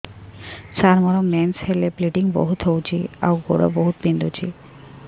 ସାର ମୋର ମେନ୍ସେସ ହେଲେ ବ୍ଲିଡ଼ିଙ୍ଗ ବହୁତ ହଉଚି ଆଉ ଗୋଡ ବହୁତ ବିନ୍ଧୁଚି